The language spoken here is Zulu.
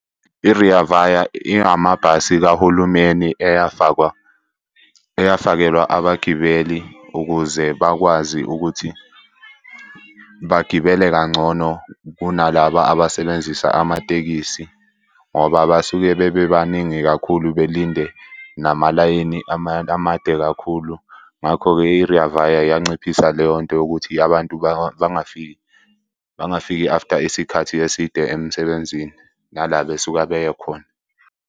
I-Rea Vaya ingamabhasi kahulumeni eyafakwa, eyafakelwa abagibeli ukuze bakwazi ukuthi bagibele kangcono kunalaba abasebenzisa amatekisi, ngoba basuke bebebaningi kakhulu belinde namalayini amade kakhulu. Ngakho-ke i-Rea Vaya yayinciphisa leyo nto yokuthi abantu bangafiki after isikhathi eside emsebenzini nala besuke beye khona.